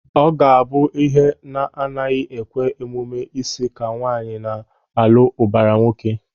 Ọ ga a bụ ihe na-agaghị ekwe omume ịsị ka nwaanyị na-alụ ụbara nwoke.